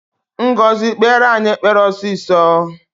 Ngọzi kpere anyị ekpere ọsịsọ!